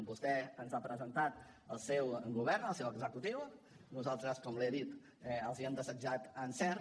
vostè ens ha presentat el seu govern el seu executiu nos altres com li he dit els hem desitjat encert